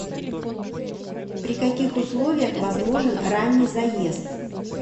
при каких условиях возможен ранний заезд